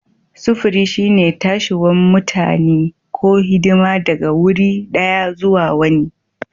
Sufuri shine tashiwan mutani ko hidima daga wurin daya zuwa wani.